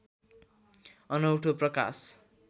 अनौठो प्रकाश